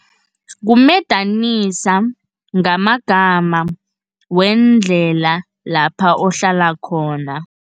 Kumedanisa, ngamagama weendlela lapha uhlala khona.